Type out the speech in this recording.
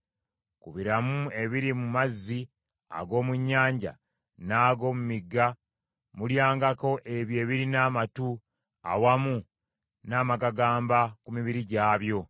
“Ku biramu ebiri mu mazzi ag’omu nnyanja n’ag’omu migga mulyangako ebyo ebirina amatu awamu n’amagagamba ku mubiri gwabyo.